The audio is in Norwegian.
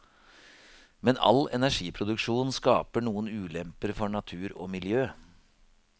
Men all energiproduksjon skaper noen ulemper for natur og miljø.